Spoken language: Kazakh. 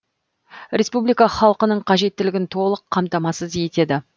республика халқының қажеттілігін толық қамтамасыз етеді